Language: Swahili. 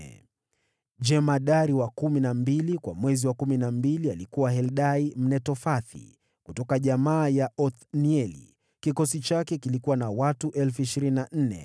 Jemadari wa kumi na mbili kwa mwezi wa kumi na mbili alikuwa Heldai Mnetofathi kutoka jamaa ya Othnieli. Kikosi chake kilikuwa na watu 24,000.